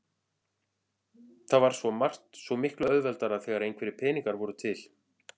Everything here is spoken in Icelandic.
Það var svo margt svo miklu auðveldara þegar einhverjir peningar voru til.